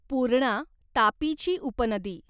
पूर्णा तापीची उपनदी